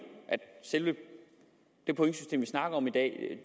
selve det pointsystem som vi snakker om i dag